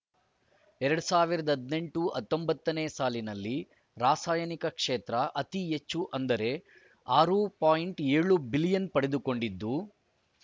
ಎರಡ್ ಸಾವಿರದ ಹದಿನೆಂಟು ಹತ್ತೊಂಬತ್ತ ನೇ ಸಾಲಿನಲ್ಲಿ ರಾಸಾಯನಿಕ ಕ್ಷೇತ್ರ ಅತಿ ಹೆಚ್ಚು ಅಂದರೆ ಆರು ಪಾಯಿಂಟ್ ಏಳು ಬಿಲಿಯನ್ ಪಡೆದುಕೊಂಡಿದ್ದು